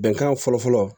Bɛnkan fɔlɔ fɔlɔ